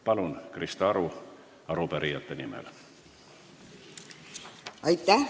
Palun, Krista Aru arupärijate nimel!